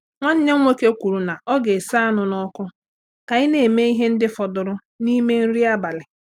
Nwanne m nwoke kwuru na ọ ga-ese anụ n'ọkụ ka anyị na-eme ihe ndị fọdụrụ n'ime nri abalị.